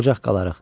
Ocaq qalar.